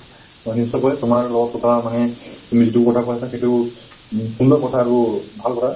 মানে চবৰে তোমাৰ লগত কথা মানে তুমি যিটো কথা কৈ আছা সেইটো উম সুন্দৰ কথা আৰু ভাল কথা